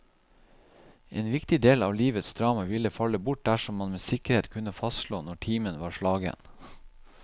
En viktig del av livets drama ville falle bort dersom man med sikkerhet kunne fastslå når timen var slagen.